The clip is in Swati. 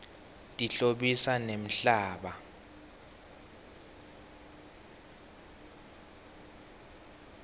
tihlobisa nemhlaba